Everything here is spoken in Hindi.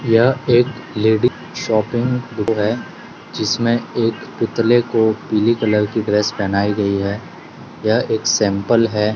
यह एक लेडी शॉपिंग है जिसमें एक पुतले को पीली कलर की ड्रेस पहनाई गई है यह एक सैंपल है।